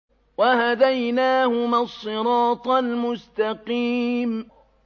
وَهَدَيْنَاهُمَا الصِّرَاطَ الْمُسْتَقِيمَ